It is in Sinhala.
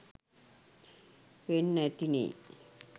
වෙන්න ඇතිනේ.